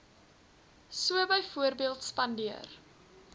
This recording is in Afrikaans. so byvoorbeeld spandeer